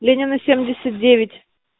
ленина семьдесят девять